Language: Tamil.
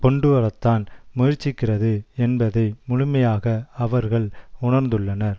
கொண்டுவரத்தான் முயற்சிக்கிறது என்பதை முழுமையாக அவர்கள் உணர்ந்துள்ளனர்